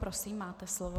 Prosím, máte slovo.